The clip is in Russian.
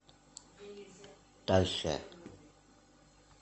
дальше